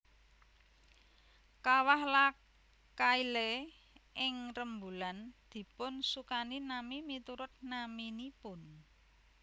Kawah La Caille ing rembulan dipunsukani nami miturut naminipun